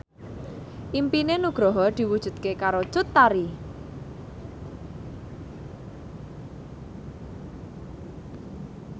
impine Nugroho diwujudke karo Cut Tari